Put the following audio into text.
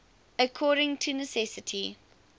according to necessity